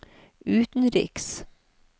utenriks